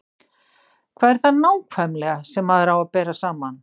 Hvað er það nákvæmlega sem maður á að bera saman?